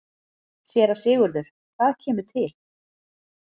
SÉRA SIGURÐUR: Hvað kemur til?